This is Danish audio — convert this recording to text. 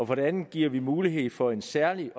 for det andet giver vi mulighed for et særligt